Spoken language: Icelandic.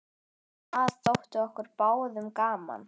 Það þótti okkur báðum gaman.